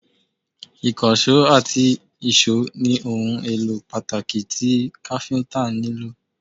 ikanṣo ati ìsó ni ohun elo pataki ti Káfíntà nilo